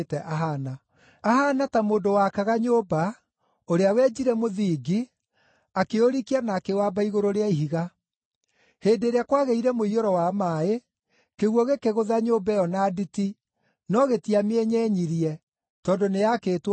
Ahaana ta mũndũ waakaga nyũmba, ũrĩa wenjire mũthingi, akĩũrikia na akĩwamba igũrũ rĩa ihiga. Hĩndĩ ĩrĩa kwagĩire mũiyũro wa maaĩ, kĩguũ gĩkĩgũtha nyũmba ĩyo na nditi, no gĩtiamĩenyenyirie, tondũ nĩyaakĩtwo wega.